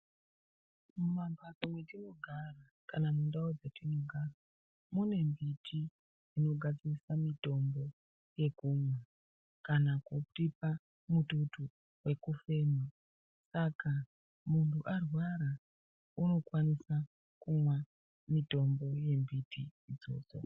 Mumamhatso mwetinogara kana mundau dzetinogara mune mbiti dzinogadziriswa mutombo yekumwa kana kutipa mututu wekufema saka munhu arwara unokwanisa kumwa mutombo yembiti idzodzo.